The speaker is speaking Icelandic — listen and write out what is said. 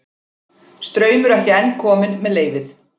Straumur ekki enn kominn með leyfið